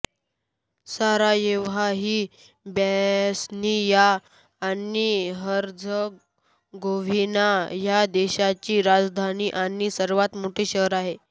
Sarajevo ही Bosnia आणि Herzegovina ह्या देशाची राजधानी आणि सर्वात मोठे शहर आहे